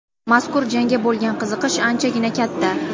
Mazkur jangga bo‘lgan qiziqish anchagina katta.